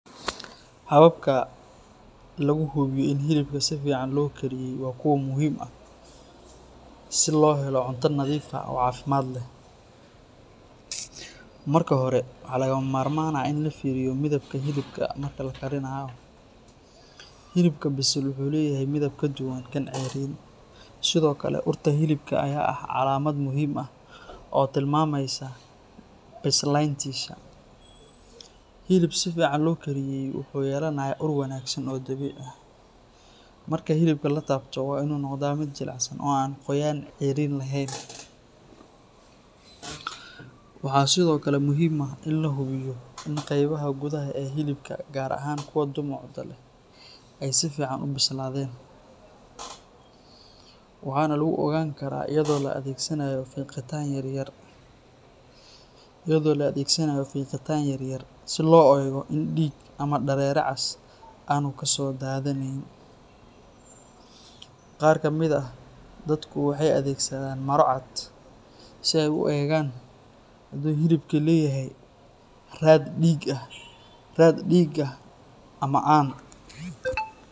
Hababka lagu hubiyo in hilibka si fiican loo kariyey waa kuwo muhiim ah si loo helo cunto nadiif ah oo caafimaad leh. Marka hore, waxaa lagama maarmaan ah in la fiiriyo midabka hilibka marka la karinayo; hilibka bisil wuxuu leeyahay midab ka duwan kan ceeriin. Sidoo kale, urta hilibka ayaa ah calaamad muhiim ah oo tilmaamaysa bislayntiisa; hilib si fiican loo kariyey wuxuu yeelanayaa ur wanaagsan oo dabiici ah. Marka hilibka la taabto, waa inuu noqdaa mid jilicsan oo aan qoyaan ceeriin lahayn. Waxaa sidoo kale muhiim ah in la hubiyo in qaybaha gudaha ee hilibka gaar ahaan kuwa dhumucda leh ay si fiican u bislaadeen, waxaana lagu ogaan karaa iyadoo la adeegsanayo fiiqitaan yaryar si loo eego in dhiig ama dareere cas aanu kasoo daadanayn. Qaar ka mid ah dadku waxay adeegsadaan maro cad si ay u eegaan hadii hilibku leeyahay raad dhiig ah ama aan.